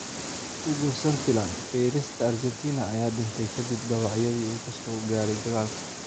Hugo Santillan: Feerista Argentina ayaa dhintay kadib dhaawacyadii uu ka soo gaadhay dagaal.